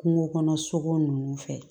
Kungo kɔnɔ sogo nunnu fɛ